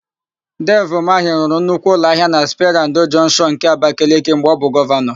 Devi Umahị rụrụ nnukwu ụlọahịa na Sperandio Jọnshịọn nke Abakeleke mgbe ọ bụ Gọvanọ.